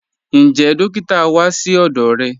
Ǹjẹ́ dòkìtà wá sí ọdọ́ rẹ?